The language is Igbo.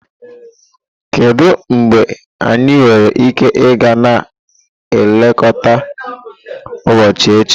Kedu mgbe anyị nwere ike ịga na nlekọta ụbọchị echi?